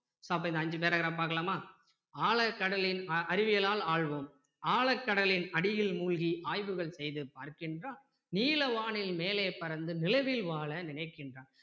அப்போ இந்த அஞ்சு paragraph பார்க்கலாமா ஆழக் கடலின் அறிவியலால் ஆள்வோம் ஆழக் கடலில் அடியில் மூழ்கி ஆய்வுகள் செய்து பார்க்கின்றான் நீல வானின் மேலே பறந்து நிலவில் வாழ நினைக்கின்றான்